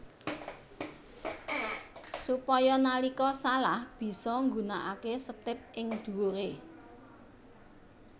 Supaya nalika salah bisa nggunakaké setip ing dhuwuré